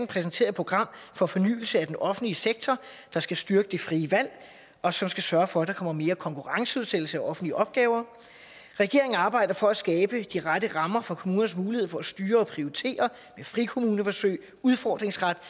præsentere et program for fornyelse af den offentlige sektor der skal styrke det frie valg og som skal sørge for at der kommer mere konkurrenceudsættelse af offentlige opgaver regeringen arbejder for at skabe de rette rammer for kommunernes mulighed for at styre og prioritere med frikommuneforsøg udfordringsret